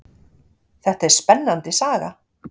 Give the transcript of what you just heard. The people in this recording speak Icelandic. Þetta er spennandi saga.